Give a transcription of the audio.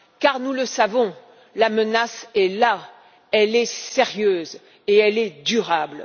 Car, nous le savons, la menace est là. Elle est sérieuse et elle est durable.